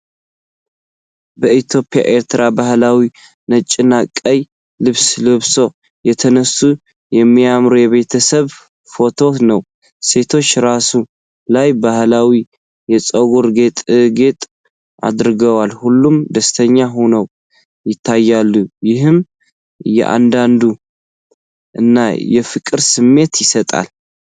በኢትዮጵያ/ኤርትራ ባህላዊ ነጭና ቀይ ልብስ ለብሶ የተነሳ የሚያምር የቤተሰብ ፎቶ ነው። ሴቶቹ ራስ ላይ ባህላዊ የፀጉር ጌጣጌጥ አድርገዋል። ሁሉም ደስተኛ ሆነው ይታያሉ፤ ይህም የአንድነት እና የፍቅር ስሜት ይሰጣል።